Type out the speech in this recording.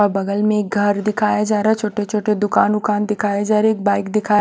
और बगल में एक घर दिखाया जा रहा है छोटे छोटे दुकान वुकान दिखाए जा रहे है एक बाइक दिखा--